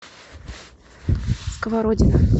сковородино